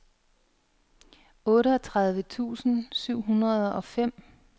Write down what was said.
otteogtredive tusind syv hundrede og fem